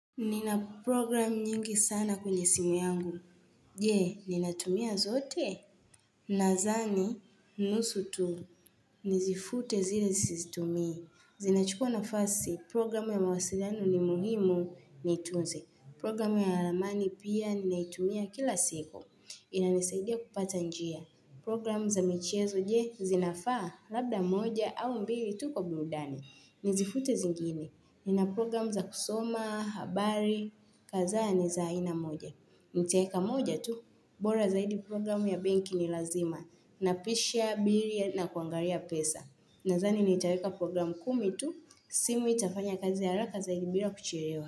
Nina program nyingi sana kwenye simu yangu. Jee, ninatumia zote? Nazani, nusu tu. Nizifute zile sizitumii. Zinachukua nafasi programu ya mawasilianu ni muhimu nitunze. Programu ya ramani pia ninaitumia kila siku. Inanisaidia kupata njia. Programu za michezo jee zinafaa labda moja au mbili tu kwa burudani. Nizifute zingini. Nina program za kusoma, habari, kazaa ni za aina moja. Nitaeka moja tu, bora zaidi program ya benki ni lazima. Napisha, biri, na kuangaria pesa. Nazani nitaeka program kumi tu, simu itafanya kazi haraka zaidi bila kucherewa.